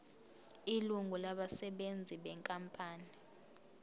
ilungu labasebenzi benkampani